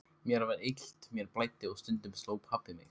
Mér var illt, mér blæddi og stundum sló pabbi mig.